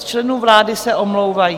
Z členů vlády se omlouvají.